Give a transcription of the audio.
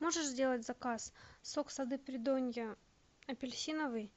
можешь сделать заказ сок сады придонья апельсиновый